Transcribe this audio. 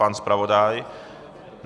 Pan zpravodaj?